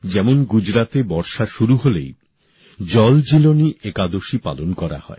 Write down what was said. যেমন গুজরাতে বর্ষা শুরু হলেই জলজীলনী একাদশী পালন করা হয়